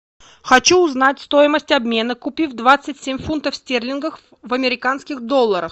хочу узнать стоимость обмена купив двадцать семь фунтов стерлингов в американских долларах